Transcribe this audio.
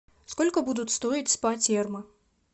сколько будут стоить спа терма